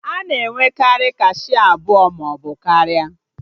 A na-enwekarị kashịa abụọ maọbụ karịa